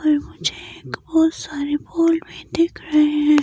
और मुझे एक बहुत सारे वॉल में दिख रहे हैं।